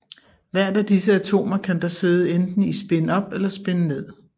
Hvert af disse atomer kan da sidde enten i spin op eller spin ned